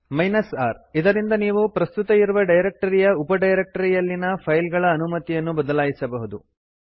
R ಇದರಿಂದ ನೀವು ಪ್ರಸ್ತುತ ಇರುವ ಡೈರಕ್ಟರಿಯ ಉಪಡೈರಕ್ಟರಿಯಲ್ಲಿನ ಫೈಲ್ಗಳ ಅನುಮತಿಯನ್ನು ಬದಲಾಯಿಸಬಹುದು